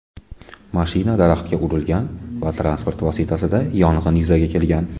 Mashina daraxtga urilgan va transport vositasida yong‘in yuzaga kelgan.